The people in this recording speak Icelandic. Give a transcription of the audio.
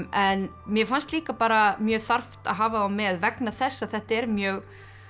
en mér fannst líka bara mjög þarft að hafa þá með vegna þess að þetta er mjög